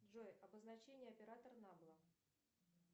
джой обозначение оператора набла